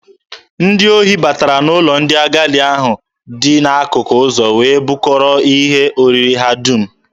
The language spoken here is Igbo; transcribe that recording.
Ndị ohi batara n'ụlọ ndị agadi ahụ dị n'akụkụ ụzọ wee bukọrọ ihe oriri ha dum.